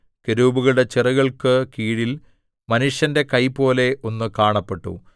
കെരൂബുകളുടെ ചിറകുകൾക്കു കീഴിൽ മനുഷ്യന്റെ കൈപോലെ ഒന്ന് കാണപ്പെട്ടു